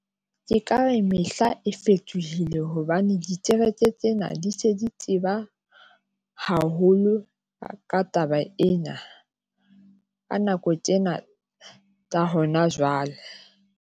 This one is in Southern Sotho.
Ke ka re mehla e fetohile hobane ditekete tsena di se di teba haholo ka taba ena. Ka nako tjena ya hona jwale.